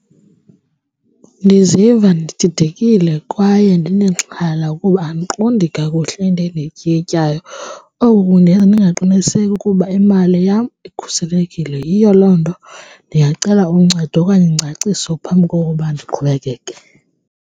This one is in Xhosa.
Ndiziva ndididekile kwaye ndinexhala kuba andiqondi kakuhle into endiyityikityayo, oku kundenza ndingaqiniseki ukuba imali yam ikhuselekile. Yiyo loo nto ndingacela uncedo okanye ingcaciso phambi kokuba ndiqhubekeke.